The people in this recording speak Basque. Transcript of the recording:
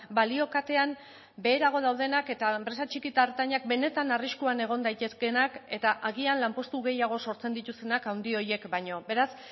balio katean beherago daudenak eta enpresa txiki eta ertainak benetan arriskuan egon daitezkeenak eta agian lanpostu gehiago sortzen dituztenak handi horiek baino beraz